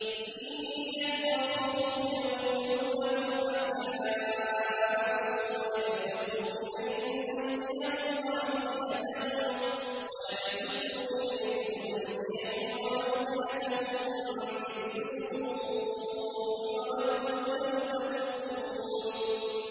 إِن يَثْقَفُوكُمْ يَكُونُوا لَكُمْ أَعْدَاءً وَيَبْسُطُوا إِلَيْكُمْ أَيْدِيَهُمْ وَأَلْسِنَتَهُم بِالسُّوءِ وَوَدُّوا لَوْ تَكْفُرُونَ